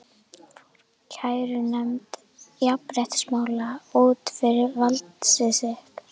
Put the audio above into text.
Fór kærunefnd jafnréttismála út fyrir valdsvið sitt?